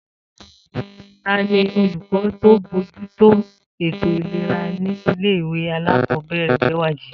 Ta ni olùkọ́ tó ń bójútó ètò ìlera nílé ìwé alákọ̀ọ́bẹ̀rẹ̀ Bẹ́wàjí?